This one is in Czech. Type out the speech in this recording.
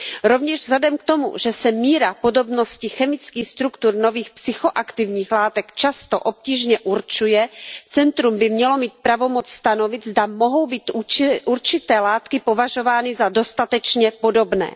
Rovněž vzhledem k tomu, že se míra podobnosti chemických struktur nových psychoaktivních látek často obtížně určuje, centrum by mělo mít pravomoc stanovit, zda mohou být určité látky považovány za dostatečně podobné.